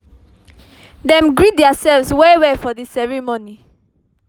dem greet theirselves well well for the ceremony